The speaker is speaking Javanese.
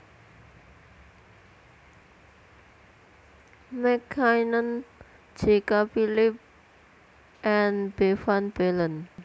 MacKinnon J K Phillipps and B van Balen